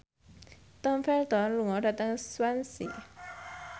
Tom Felton lunga dhateng Swansea